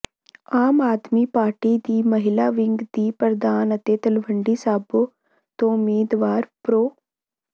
ਆਮ Aadmi party ਦੀ ਮਹਿਲਾ wing ਦੀ ਪ੍ਰਧਾਨ ਅਤੇ ਤਲਵੰਡੀ ਸਾਬੋ ਤੋਂ ਉਮੀਦਵਾਰ ਪ੍ਰੋ